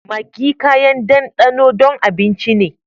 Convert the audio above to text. Maggi kayan danɗano don abinci ne.